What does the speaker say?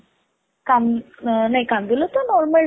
କାନ୍ଦ ନାଇ କାନ୍ଦୁଲ ତ normal ଡାଲି